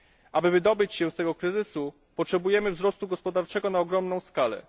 Aby wydobyć się z tego kryzysu, potrzebujemy wzrostu gospodarczego na ogromną skalę.